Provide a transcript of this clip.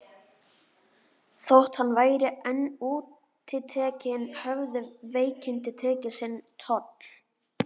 Þótt hann væri enn útitekinn höfðu veikindin tekið sinn toll.